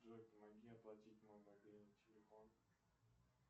джой помоги оплатить мой мобильный телефон